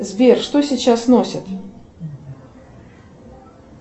сбер что сейчас носят